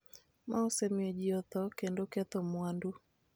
ma osemiyo ji otho kendo ketho mwandu,